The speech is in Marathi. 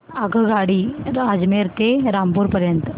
आगगाडी अजमेर ते रामपूर पर्यंत